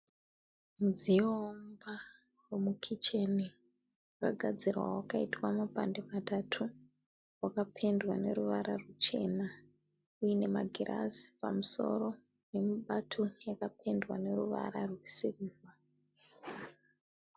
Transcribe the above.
Mudziyo womumba womukicheni wakagadzirwa wakaitwa mapandi matatu. Wakapendwa neruvara rwuchena uinemagirazi pamusoro nemibato yakapendwa neruvara rwesirivha.